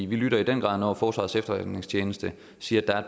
vi lytter i den grad når forsvarets efterretningstjeneste siger at